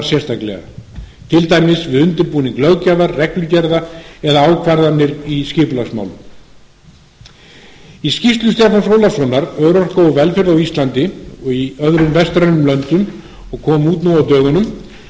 sérstaklega til dæmis við undirbúning löggjafar reglugerða eða ákvarðanir í skipulagsmálum xxxí skýrslu stefáns ólafssonar örorka og velferð á íslandi og í öðrum vestrænum löndum sem kom út nú á dögunum